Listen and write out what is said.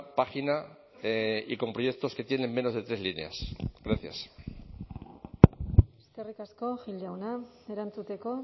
página y con proyectos que tienen menos de tres líneas gracias eskerrik asko gil jauna erantzuteko